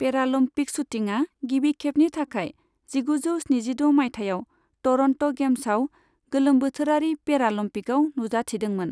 Paralympic शुटिंआ गिबि खेबनि थाखाय जिगुजौ स्निजिद' माइथाइयाव टर'न्ट' गेम्सआव गोलोमबोथोरारि पेरालम्पिकआव नुजाथिदोंमोन।